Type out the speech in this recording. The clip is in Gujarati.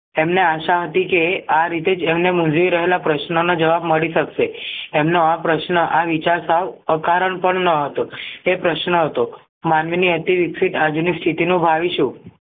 તેમને આશા હતી કે આ રીતે જ એમને મુંઝવી રહેલા પ્રશ્નનો જવાબ મળી શકશે એમનો આ પ્રશ્ન આ વિચાર સાવ અકારણ પણ ન હતો તે પ્રશ્ન હતો માનવીની અતિ વિક્સિત આજની સ્થિતિ નું ભાવીશુ